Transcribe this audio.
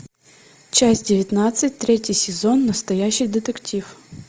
часть девятнадцать третий сезон настоящий детектив